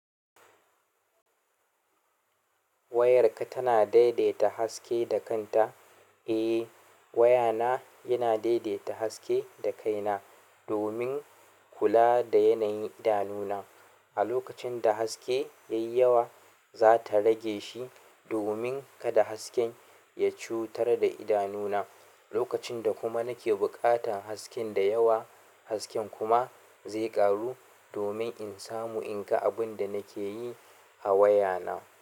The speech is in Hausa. Wayarka tana daidaita haske da kanta? Eh, wayana yana daidaita haske da kaina domin kula da yanayin idanuna. A lokacin da haske ya yi yawa, za ta rage shi domin kada hasken ya cutar da idanuna. Lokacin da kuma nake buƙatan haskenda yawa, hasken kuma zai ƙaru domin in samu in ga abin da nake yi a wayana.